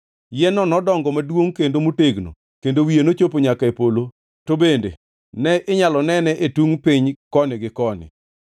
Yien-no nodongo maduongʼ kendo motegno, kendo wiye nochopo nyaka e polo, to bende ne inyalo nene e tungʼ piny koni gi koni.